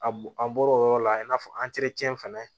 A bo an bɔr'o yɔrɔ la i n'a fɔ fana